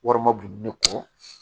Wari ma bon ne kɔ